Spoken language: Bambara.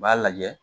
U b'a lajɛ